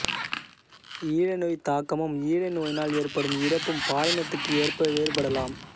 ஈழை நோய்த்தாக்கமும் ஈழை நோயினால் ஏற்படும் இறப்பும் பாலினத்துக்கு ஏற்ப வேறுபடலாம்